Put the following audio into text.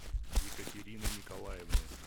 екатерины николаевны